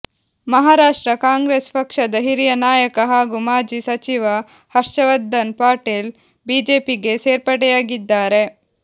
ಮಹಾರಾಷ್ಟ್ರ ಕಾಂಗ್ರೆಸ್ ಪಕ್ಷದ ಹಿರಿಯ ನಾಯಕ ಹಾಗೂ ಮಾಜಿ ಸಚಿವ ಹರ್ಷವರ್ಧನ್ ಪಾಟೀಲ್ ಬಿಜೆಪಿಗೆ ಸೇರ್ಪಡೆಯಾಗಿದ್ದಾರೆ